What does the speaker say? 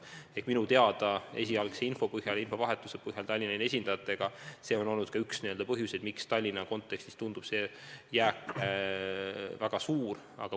Nii palju, kui ma Tallinna linna esindajatega vahetatud info põhjal tean, on see olnud üks põhjuseid, miks Tallinna kontekstis tundub see jääk väga suur.